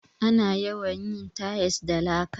Ana yawan yin tayis da laka.